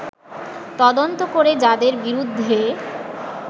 তদন্ত করে যাদের বিরুদ্ধে